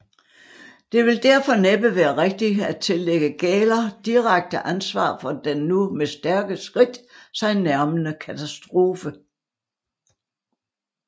Det vil derfor næppe være rigtigt at tillægge Gähler direkte ansvar for den nu med stærke skridt sig nærmende katastrofe